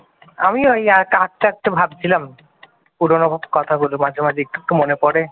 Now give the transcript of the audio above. আমি ওই আস্তে আস্তে ভাবছিলাম পুরনো কথাগুলো মাঝে মাঝে একটু মনে পড়ে ।